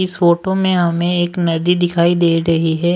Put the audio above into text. इस फोटो में हमें एक नदी दिखाई दे रही है।